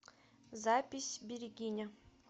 запись берегиня